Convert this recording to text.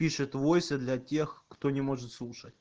пишет войсы для тех кто не может слышать